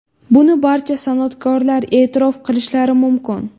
Buni barcha san’atkorlar e’tirof qilishlari mumkin.